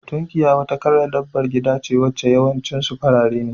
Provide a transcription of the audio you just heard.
Tunkiya wata kalar dabbabar gida ce wacce yawancin su farare ne.